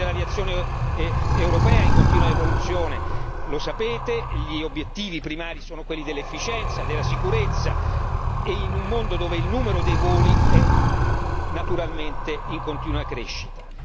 Il settore dell'aviazione europea è in continua evoluzione lo sapete gli obiettivi primari sono quelli dell'efficienza, della sicurezza e in un mondo dove il numero dei voli è naturalmente in continua crescita.